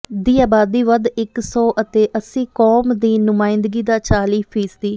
ਦੀ ਆਬਾਦੀ ਵੱਧ ਇੱਕ ਸੌ ਅਤੇ ਅੱਸੀ ਕੌਮ ਦੀ ਨੁਮਾਇੰਦਗੀ ਦਾ ਚਾਲੀ ਫੀਸਦੀ